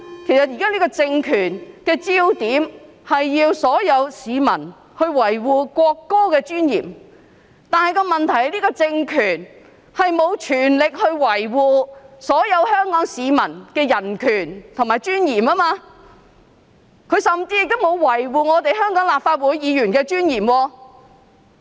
因為現在這個政權的焦點，是要所有市民維護國歌的尊嚴，但問題是，這個政權並無全力維護所有香港市民的人權及尊嚴，甚至沒有維護香港立法會議員的尊嚴。